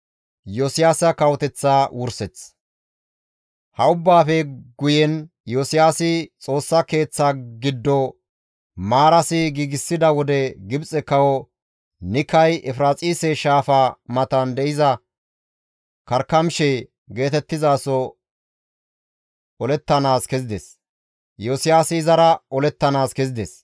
Ha ubbaafe guyen Iyosiyaasi Xoossa Keeththaa giddo maarasi giigsida wode Gibxe kawo Nikay Efiraaxise Shaafa matan de7iza Karkamishe geetettizaso olettanaas kezides; Iyosiyaasi izara olettanaas kezides.